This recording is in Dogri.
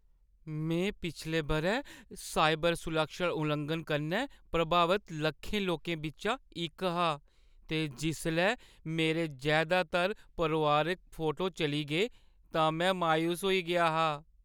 में पिछले बʼरै साइबर सुरक्षा लुआंघन कन्नै प्रभावत लक्खें लोकें बिच्चा इक हा ते जिसलै मेरे जैदातर परोआरिक फोटो चली गे तां में मायूस होई गेआ हा।